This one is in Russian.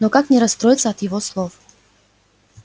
но как не расстроиться от его слов